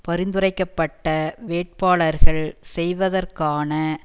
பரிந்துரைக்க பட்ட வேட்பாளர்கள் செய்வதற்கான